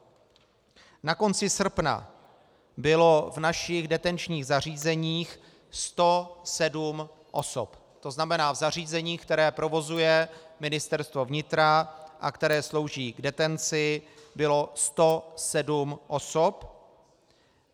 Na konci srpna bylo v našich detenčních zařízeních 107 osob, to znamená v zařízeních, která provozuje Ministerstvo vnitra a která slouží k detenci, bylo 107 osob.